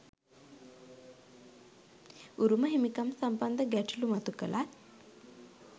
උරුම හිමිකම් සම්බන්ධ ගැටලූ මතු කළත්